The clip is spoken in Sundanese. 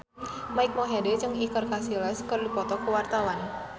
Mike Mohede jeung Iker Casillas keur dipoto ku wartawan